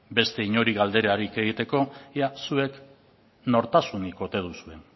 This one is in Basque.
beste inori galderarik egiteko ia zuek nortasunik ote duzuen